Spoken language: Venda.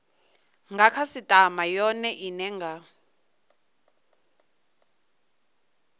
nga khasitama yone ine nga